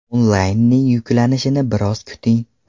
Onlaynning yuklanishini biroz kuting.